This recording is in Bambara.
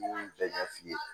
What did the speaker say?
N y'u bɛɛ ɲɛ f'i ye